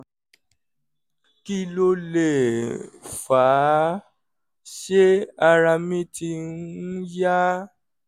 kí ló lè fà á? ṣé ara mi ti um ń yá?